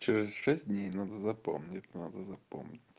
через шесть дней надо запомнить надо запомнить